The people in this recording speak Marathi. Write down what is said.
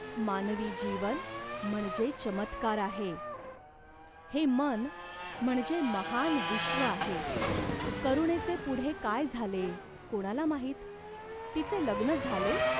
मानवी जीवन म्हणजे चमत्कार आहे. हे मन म्हणजे महान् विश्व आहे." "करुणेचे पुढे काय झाले ?" "कोणाला माहीत." "तिचे लग्न झाले ?